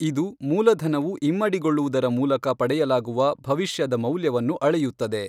ಇದು ಮೂಲಧನವು ಇಮ್ಮಡಿಗೊಳ್ಳುವುದರ ಮೂಲಕ ಪಡೆಯಲಾಗುವ ಭವಿಷ್ಯದ ಮೌಲ್ಯವನ್ನು ಅಳೆಯುತ್ತದೆ.